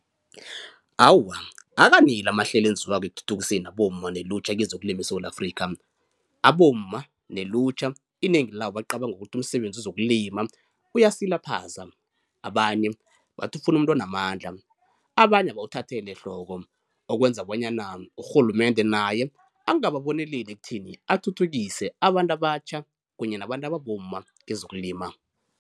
Awa, akaneli amahlelo enziwako ekuthuthukiseni abomma nelutjha kezokulima eSewula Afrikha. Abomma nelutjha inengi labo bacabanga ukuthi umsebenzi wezokulima uyasilaphaza, abanye bathi kufuna umuntu onamandla, abanye abawuthaheli ehloko okwenza bonyana urhulumende naye angababoneleli ekutheni athuthukise abantu abatjha kunye nabantu ababomma kezokulima.